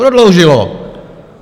Prodloužilo!